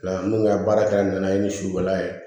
Minnu ka baara kɛra nana ye ni sugu jala ye